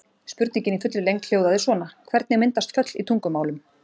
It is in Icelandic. Spurningin í fullri lengd hljóðaði svona: Hvernig myndast föll í tungumálum?